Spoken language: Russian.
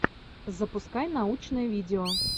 запускай научное видео